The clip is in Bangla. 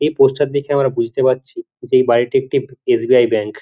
এই পোস্টার দেখে আমরা বুঝতে পারছি যে এই বাড়িটি একটি এস.বি.আই ব্যাঙ্ক ।